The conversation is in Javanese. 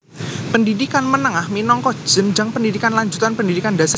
Pendhidhikan menengah minangka jenjang pendhidhikan lanjutan pendhidhikan dhasar